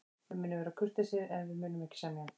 Við munum vera kurteisir, en við munum ekki semja.